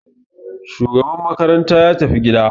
Shugaban makaranta ya tafi gida.